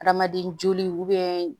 Adamaden joli